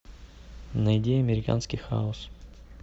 найди американский хаос